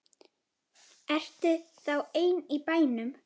Ertu þá ein í bænum?